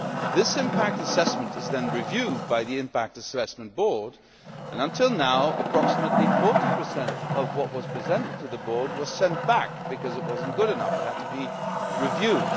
This impact assessment is then reviewed by the Impact Assessment Board, and until now approximately 40 of what was presented to the Board was sent back because it was not good enough and had to be reviewed.